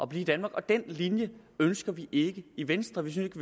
blive i danmark den linje ønsker vi ikke i venstre vi synes